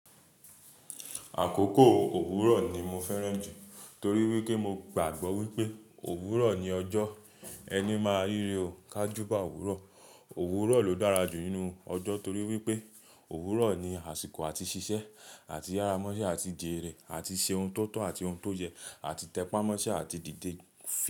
Àkókò òwúrọ̀ ni mo fẹ́ràn jù torí wípé mo gbàgbọ́ wípé òwúrọ̀ ni ọjọ́, ẹni máa ríre o ká júbà òwúrọ̀, òwúrọ̀ ló dára jù nínú ọjọ́ torí wípé òwúrọ̀ ni àsìkò àti ṣiṣẹ́ àti yára mọ́ iṣẹ́ àti jèrè àti ṣe ohun tó tọ́ àti ohun tó yẹ àti tẹpá mọ́ iṣẹ́ àti dìde.